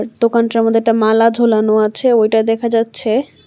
দোকানটার মধ্যে একটা মালা ঝোলানো আছে ওইটা দেখা যাচ্ছে।